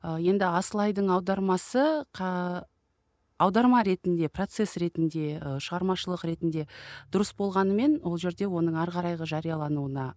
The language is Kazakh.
ы енді асылайдың аудармасы аударма ретінде процесс ретінде ы шығармашылық ретінде дұрыс болғанымен ол жерде оның ары қарайғы жариялануына